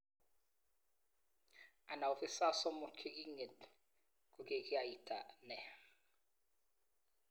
Ana Ofisas somok che king'et kokikiaita nee?